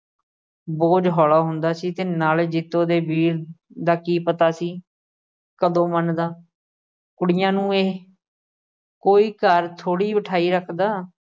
ਬੋਝ ਹੌਲਾ ਹੁੰਦਾ ਸੀ ਤੇ ਨਾਲੇ ਜੀਤੋ ਦੇ ਵੀਰ ਦਾ ਕੀ ਪਤਾ ਸੀ ਕਦੋਂ ਮੰਨਦਾ ਕੁੜੀਆਂ ਨੂੰ ਇਹ ਕੋਈ ਘਰ ਥੋੜੀ ਬਿਠਾਈ ਰੱਖਦਾ।